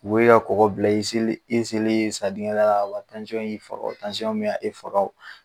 U k'e ka kɔgɔ bila i selen e selen e sa diŋɛ da la ka ban y'i faga o me a e faga o